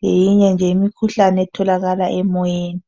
leyinye nje imikhuhlane etholakala emoyeni